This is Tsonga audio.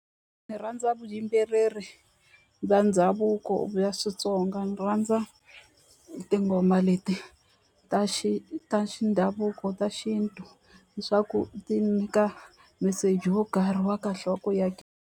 Ni rhandza vuyimbeleri bya ndhavuko bya switsonga ni rhandza tinghoma leti ta xi ta xindhavuko ta xintu hi swa ku ti nyika meseji wo karhi wa kahle wa ku ya ka.